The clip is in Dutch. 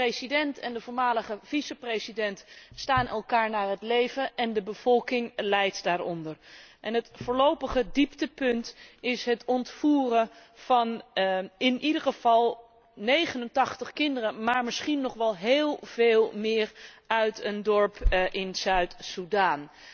De president en de voormalige vice president staan elkaar naar het leven en de bevolking lijdt daaronder. Het voorlopige dieptepunt is het ontvoeren van, in ieder geval, 89 kinderen maar misschien nog wel heel veel meer uit een dorp in Zuid Sudan.